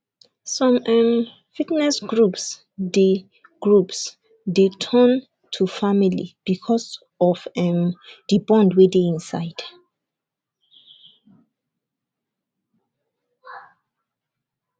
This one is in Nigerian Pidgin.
some um fitness groups dey groups dey turn to family because of um the bond wey dey inside